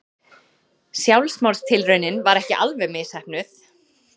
Sjálfsmorðstilraunin var ekki alveg misheppnuð.